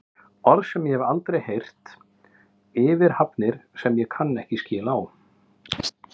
Orð sem ég hef aldrei heyrt yfir athafnir sem ég kann ekki skil á.